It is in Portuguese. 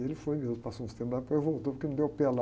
Ele foi mesmo, passou uns tempos lá, depois voltou porque não deu pé lá.